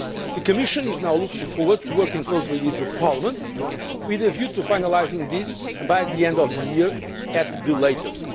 money. The Commission is now looking forward to working closely with Parliament with a view to finalising this by the end of the year at